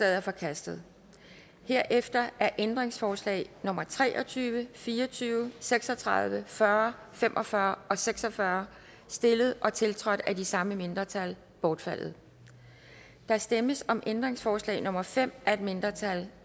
er forkastet herefter er ændringsforslag nummer tre og tyve fire og tyve seks og tredive fyrre fem og fyrre og seks og fyrre stillet og tiltrådt af de samme mindretal bortfaldet der stemmes om ændringsforslag nummer fem af et mindretal